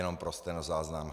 Jenom pro stenozáznam.